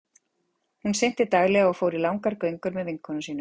Hún synti daglega og fór í langar göngur með vinkonum sínum.